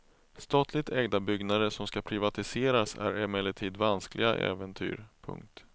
Statligt ägda byggnader som ska privatiseras är emellertid vanskliga äventyr. punkt